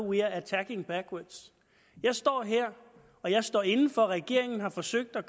we are attacking backwards jeg står her og jeg står inde for at regeringen har forsøgt at